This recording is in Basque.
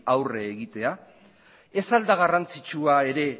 aurre egitea ez al da garrantzitsua ere